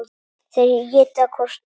Þeir éta hvorn annan.